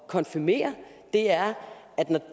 konfirmere er at når